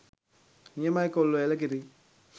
නියමයි කොල්ලෝ එළකිරි